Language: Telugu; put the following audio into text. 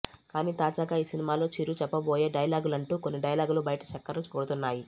కానీ తాజాగా ఈ సినిమాలో చిరు చెప్పబోయే డైలాగులంటూ కొన్ని డైలాగులు బయట చెక్కర్లు కొడుతున్నాయి